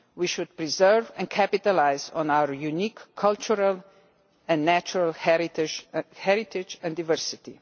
We should preserve, and capitalise on, our unique cultural and natural heritage and diversity.